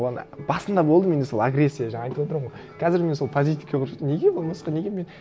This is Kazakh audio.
оған басында болды менде сол агрессия жаңа айтып отырмын ғой қазір мен сол позитивке көштім неге болмасқа неге мен